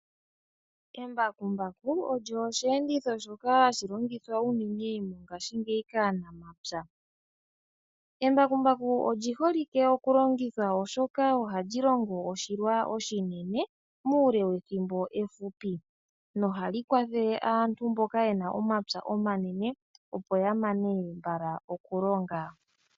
Embakumbaku olyo osheenditho shoka hashi longithwa unene mongaashingeyi kaanamapya. Embakumbaku olyi holike okulongithwa oshoka oha lyi longo oshilwa oshinine muule wethimbo ehupi noha li kwathele aantu mboka ye na omapya omanene opo ya mane mbala okulonga.